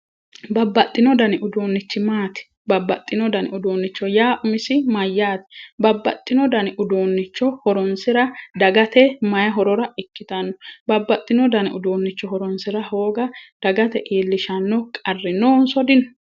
babbaxino dani uduunnichi maati? babbaxino dani uduunnicho yaa umisi mayyaate? babbaxino dani uduunnicho horonsira dagate mayi horora ikkitanno babbaxino dani uduunnicho horonsira hooga dagate iillishshanno qarri noonso dino?